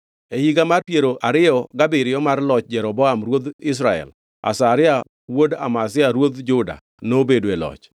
E higa mar piero ariyo gabiriyo mar loch Jeroboam ruodh Israel, Azaria wuod Amazia ruodh Juda nobedo e loch.